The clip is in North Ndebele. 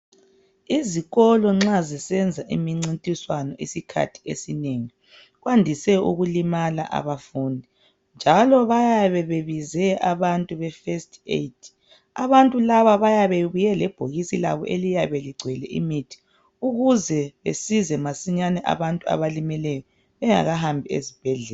Izikolo nxa zisenza imincintiswano isikhathi esinengi kwandise ukulimala abafundi njalo bayabe bebize abantu befirst aid. Abantu laba bayabe bebuye lebhokisi labo eliyabe ligcwele imithi ukuze besize masinyane abantu abalimeleyo bengakahambi esibhedlela.